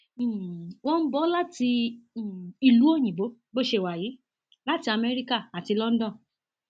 um wọn ń bọ ọ láti um ìlú òyìnbó bó ṣe wà yìí láti Amerika àti london